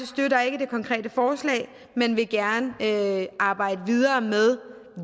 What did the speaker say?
støtter ikke det konkrete forslag men vil gerne arbejde videre med